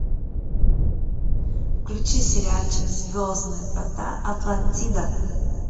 включи сериальчик звездные врата атлантида